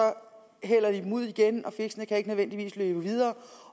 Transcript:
hælder dem ud igen fiskene kan ikke nødvendigvis leve videre